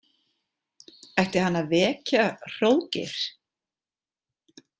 Ætti hann að vekja Hróðgeir?